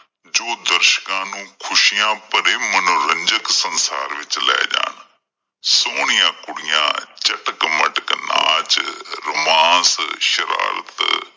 ਜੋ ਦਰਸ਼ਕਾਂ ਨੂੰ ਖੁਸ਼ੀਆਂ ਭਰੇ ਮਨੋਰੰਚਕ ਸੰਸਾਰ ਵਿੱਚ ਲੈ ਜਾਣ, ਸੋਹਣੀਆਂ ਕੁੜੀਆਂ ਚਟਕ-ਮਟਕ ਨਾਚ romance ਸ਼ਰਾਰਤ